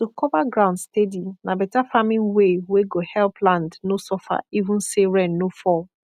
to cover ground steady na beta farming way wey go help land no suffer even say rain no fall